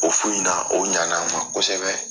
O fu in na o ɲan'an ma kosɛbɛ